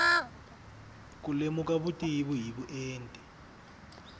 ku lemuka vutivi hi vuenti